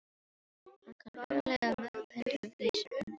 Hann kann örugglega mörg hundruð vísur um þá líka.